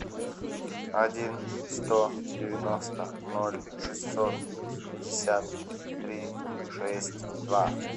один сто девяносто ноль шестьсот пятьдесят три шесть два